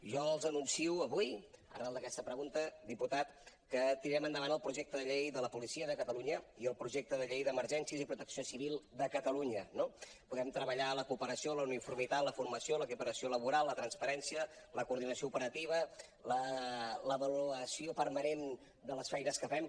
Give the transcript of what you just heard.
jo els anuncio avui arran d’aquesta pregunta diputat que tirarem endavant el projecte de llei de la policia de catalunya i el projecte de llei d’emergències i protecció civil de catalunya no podem treballar la cooperació la uniformitat la formació l’equiparació laboral la transparència la coordinació operativa l’avaluació permanent de les feines que fem